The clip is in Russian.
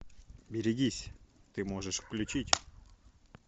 берегись ты можешь включить